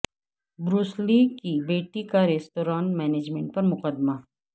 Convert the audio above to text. Bruce Lee کی بیٹی کا ریستوراں مینجمنٹ پر مقدمہ